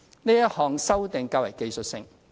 這項修訂較為技術性。